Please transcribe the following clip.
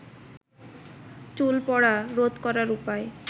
চুল পড়া রোধ করার উপায়